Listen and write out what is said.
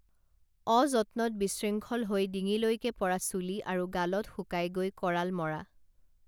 অযত্নত বিশৃংখল হৈ ডিঙিলৈকে পৰা চুলি আৰু গালত শুকাই গৈ কৰাল মৰা